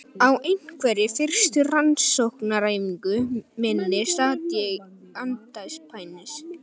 Á einhverri fyrstu rannsóknaræfingu minni sat ég andspænis